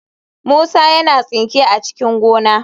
Musa yana tsinke a cikin gona."